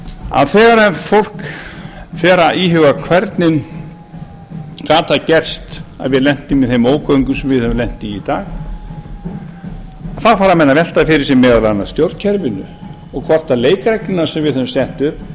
að þegar fólk fer að íhuga hvernig gat það gerst að við lentum í þeim ógöngum sem við höfum lent í í dag þá fara menn að velta fyrir sér meðal annars stjórnkerfinu og hvort leikreglurnar sem við höfum sett upp